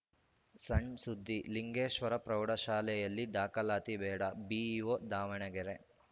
ಸಣ್‌ ಸುದ್ದಿ ಲಿಂಗೇಶ್ವರ ಪ್ರೌಢಶಾಲೆಯಲ್ಲಿ ದಾಖಲಾತಿ ಬೇಡ ಬಿಇಒ ದಾವಣಗೆರೆ